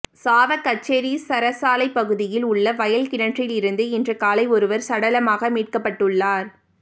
சாவகச்சேரி சரசாலைப் பகுதியில் உள்ள வயல் கிணற்றிலிருந்து இன்று காலை ஒருவர் சடலமாக மீட்கப்பட்டுள்ளார்